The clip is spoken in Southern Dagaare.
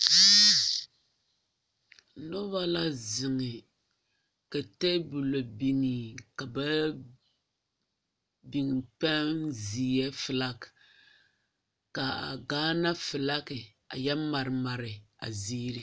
Noba la zeŋe ka tebolo biŋɛ ka ba yɔ biŋ pɛŋ seɛ filaki ka a Gaana filaki yɔ mare mare a ziiri.